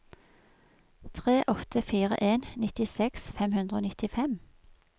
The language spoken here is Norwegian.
tre åtte fire en nittiseks fem hundre og nittifem